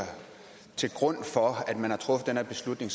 til grund for at man har truffet den her beslutning